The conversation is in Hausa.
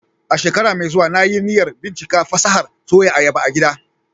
A shekara mai zuwa, na yi niyyar bincika fasahar Soya ayaba a gida